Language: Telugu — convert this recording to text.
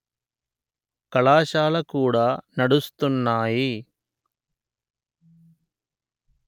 కళాశాల కూడా నడుస్తున్నాయి